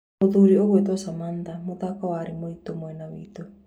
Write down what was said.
Mũthuri ũgũĩtwo Samantha, 'Muthako warĩ mũritũ mwena witũ'